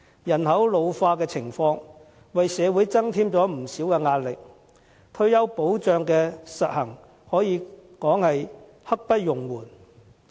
人口老化的情況為社會增添不少壓力，推行退休保障可說是刻不容緩。